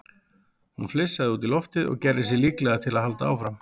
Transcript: Hún flissaði út í loftið og gerði sig líklega til að halda áfram.